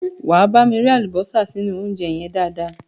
Wá bámi rẹ́ àlùbọ́sà sínú óúnjẹ yẹn dáadáa.